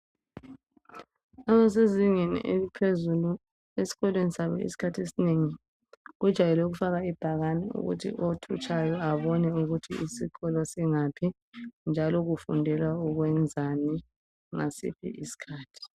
Abasezingeni eliphezulu esikolweni sabo isikhathi esinengi kujwayele ukufakwa ibhakane othutshayo abone ukuthi isikolo singaphi njalo kufundelwa ukwenzani ngasiphi isikhathi.